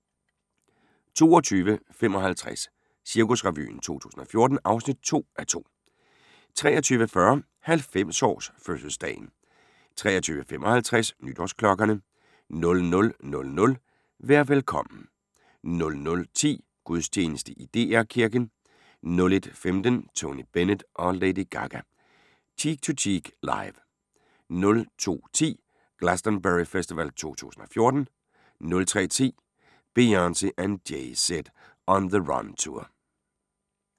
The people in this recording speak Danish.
22:55: Cirkusrevyen 2014 (2:2) 23:40: 90-års-fødselsdagen 23:55: Nytårsklokkerne 00:00: Vær velkommen 00:10: Gudstjeneste i DR Kirken 01:15: Tony Bennett & Lady Gaga – Cheek To Cheek Live 02:10: Glastonbury Festival 2014 03:10: Beyoncé and Jay Z On The Run Tour